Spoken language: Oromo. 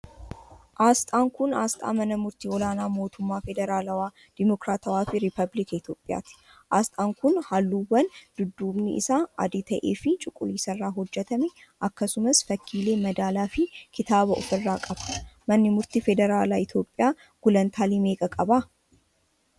Asxaan kun, asxaa mana murtii olaanaa mootummaa federalaawaa, demokiraatawaa fi rippaabilika Itoophiyaati. Asxaan kun ,haalluuwwan dudduubni isaa adii ta'ee fi cuquliisa irraa hojjatame akkasumas fakkiilee madaalaa fi kitaabaa of irraa qaba. Manni murtii federaalaa Itoophiyaa gulantaalee meeqa qaba?